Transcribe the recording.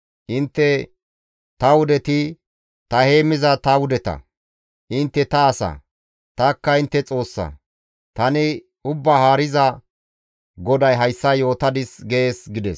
Intte ta wudeti ta heemmiza ta wudeta; intte ta asa; tanikka intte Xoossa; tani Ubbaa Haariza GODAY hayssa yootadis› gees» gides.